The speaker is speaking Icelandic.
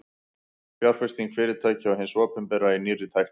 fjárfesting fyrirtækja og hins opinbera í nýrri tækni